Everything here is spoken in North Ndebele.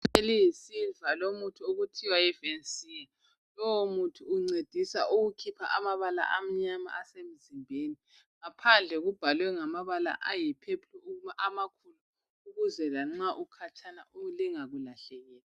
Yiphepha eliyisiliva elomuthi okuthiwa yiVensia lowu muthi uncedisa ukukhipha amabala amnyama asemzimbeni ngaphandle ubhalwe ngamabala ayi pheplu amakhulu ukuze lanxa ukhatshana lingakulahlekeli.